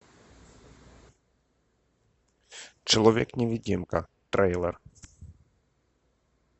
человек невидимка трейлер